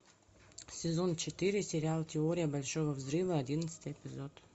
сезон четыре сериал теория большого взрыва одиннадцатый эпизод